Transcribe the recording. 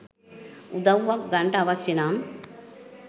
උදව්වක් ගන්ට අවශ්‍ය නම්